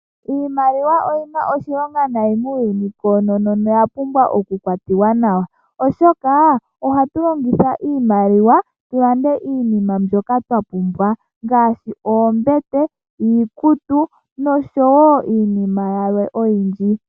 Iimaliwa oyina oshilonga nayi muuyuni koonono noya pumbwa okukwatiwa nawa oshoka ohatu longitha iimaliwa tu lande iinima mbyoka twa pumbwa ngaashi oombete ,iikutu noshowo iinima yilwe oyindji.